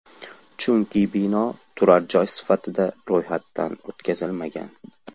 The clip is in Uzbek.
Chunki bino turar joy sifatida ro‘yxatdan o‘tkazilmagan.